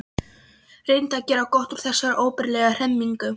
Reyndi að gera gott úr þessari óbærilegu hremmingu.